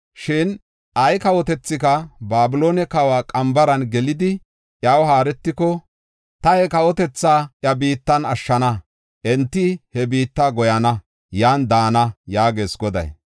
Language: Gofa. Shin ay kawotethika Babiloone kawa qambaran gelidi, iyaw haaretiko, ta he kawotethaa iya biittan ashshana; enti he biitta goyana; yan daana” yaagees Goday.